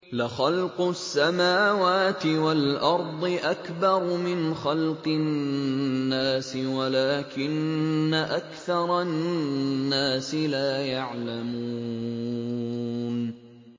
لَخَلْقُ السَّمَاوَاتِ وَالْأَرْضِ أَكْبَرُ مِنْ خَلْقِ النَّاسِ وَلَٰكِنَّ أَكْثَرَ النَّاسِ لَا يَعْلَمُونَ